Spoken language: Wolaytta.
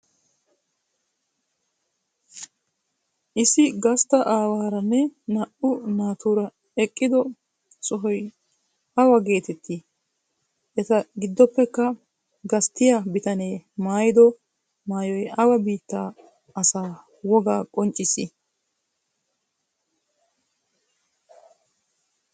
Issi gasttaa awaaranne naa"u naaturaa eqqido sohoy awaa geetetti? Etaa giddoppekka gasttiya bitaanne maayido maayoy awaa biittaa asaa woga qonccissi?